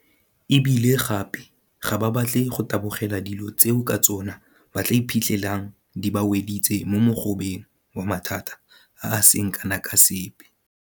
E bile gape ga ba batle go tabogela dilo tseo ka tsona ba tla iphitlhelang di ba weditse mo mogobeng wa mathata a a seng kana ka sepe.